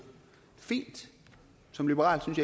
fint som liberal synes